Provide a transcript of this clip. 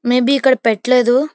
May be ఇక్కడ పెట్లాదు.